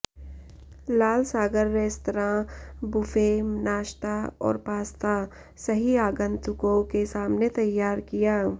लाल सागर restaurant buffet नाश्ता और पास्ता सही आगंतुकों के सामने तैयार किया